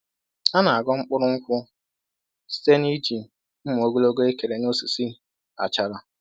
A na aghọ mkpụrụ nkwụ site n'iji mma ogologo ekere n'osisi achara.